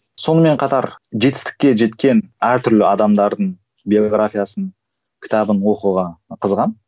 сонымен қатар жетістікке жеткен әртүрлі адамдардың биографиясын кітабын оқуға қызығамын